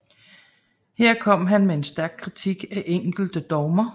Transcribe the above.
Her kom han med stærk kritik af enkelte dogmer